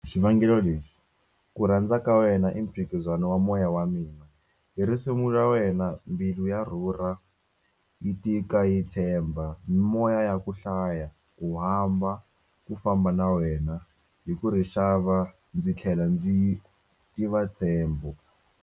Xivangelo lexi ku rhandza ka wena i mphikizano wa moya wa mina hi risimu ra wena mbilu ya rhurha yi tika yi tshemba mimoya ya ku hlaya u hamba ku famba na wena hi ku ri xava ndzi tlhela ndzi tiva ntshembo.